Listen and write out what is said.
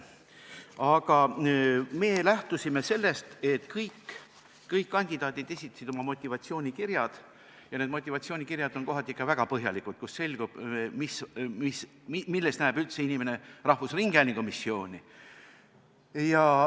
Me lähtusime sellest, et kõik kandidaadid esitasid oma motivatsioonikirjad, mis olid kohati väga põhjalikud ja kust selgub, milles näeb inimene rahvusringhäälingu missiooni.